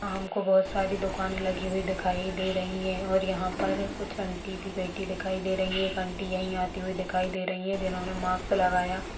हम को बहोत सारी दुकानें लगी हुई दिखाई दे रही हैं और यहाँ पर कुछ आँटी भी बैठी दिखाई दे रही हैं एक आँटी यहीं आती हुई दिखाई दे रही है जिन्होंने माक्स लगाया --